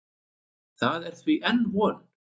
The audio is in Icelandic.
Það er því enn von.